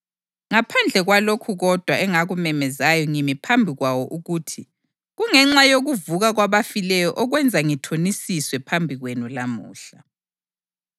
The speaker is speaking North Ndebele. ngaphandle kwalokhu kodwa engakumemezayo ngimi phambi kwawo ukuthi: ‘Kungenxa yokuvuka kwabafileyo okwenza ngithonisiswe phambi kwenu lamuhla.’ ”